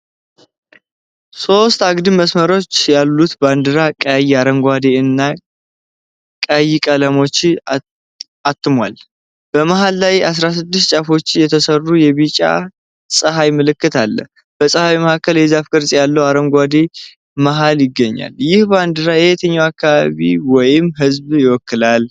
ሦስት አግድም መስመሮች ያሉት ባንዲራ ቀይ፣ አረንጓዴ እና ቀይ ቀለሞችን አትሟል። በመሃል ላይ ከ16 ጫፎች የተሠራ የቢጫ ፀሐይ ምልክት አለ። በፀሐዩ መሃል የዛፍ ቅርጽ ያለው አረንጓዴ መሀል ይገኛል። ይህ ባንዲራ የየትኛውን አካባቢ ወይም ሕዝብ ይወክላል?